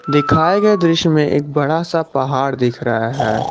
दिखाए गए दृश्य में एक बड़ा सा पहाड़ दिख रहा है।